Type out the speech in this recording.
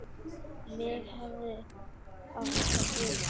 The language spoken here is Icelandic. Mig hefði átt að gruna eitthvað.